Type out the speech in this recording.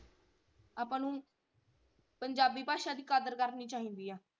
ਆਪਾਂ ਨੂੰ ਪੰਜਾਬੀ ਭਾਸ਼ਾ ਦੀ ਕਦਰ ਕਰਨੀ ਚਾਹੀਦੀ ਆ।